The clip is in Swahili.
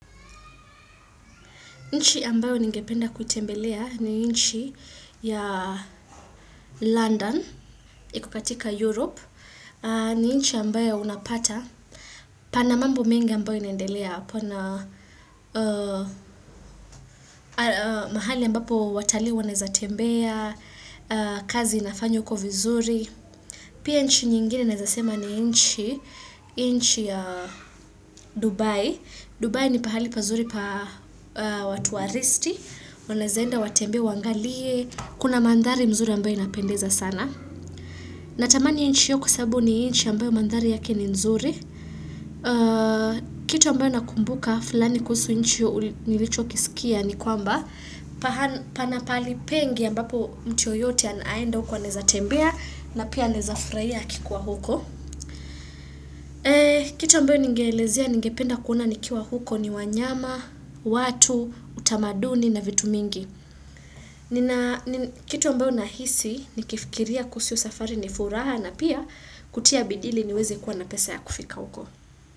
Nchi ambayo ni ngependa kutembelea ni nchi ya London, iko katika Europe. Ni nchi ambayo unapata. Pana mambo mengi ambayo inaendelea pana mahali ambapo watalii wanaweza tembea, kazi inafanywa kwa vizuri. Pia nchi nyingine nazasema ni nchi nchi ya Dubai. Dubai ni pahali pazuri pa watu waristi, wanaeza enda watembea wangalie, kuna mandhari mzuri ambayo inapendeza sana. Natamani inchi iyo sababu ni inchi ambayo mandhari yake ni nzuri. Kito ambayo nakumbuka fulani kusu inchi io nilicho kisikia ni kwamba. Pana pahali pengi ambapo mtu yoyote anaenda huko anaeza tembea na pia anaeza furaiya akikuwa huko. Kitu ambayo ningelezia, ningependa kuona nikiwa huko ni wanyama, watu, utamaduni na vitu mingi kitu ambayo nahisi, nikifikiria kuhusu safari ni furaha na pia kutia bidii ili niweze kuwa na pesa ya kufika huko.